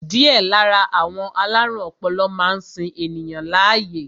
Díẹ̀ lára àwọn alárùn ọpọlọ máa ń sin ènìyàn láàyè